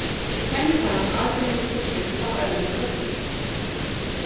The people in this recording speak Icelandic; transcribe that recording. Kennitalan aðgreinir fuglinn frá öðrum fuglum.